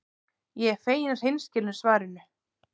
Ég er fegin hreinskilnu svarinu.